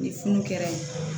Ni funu kɛra yen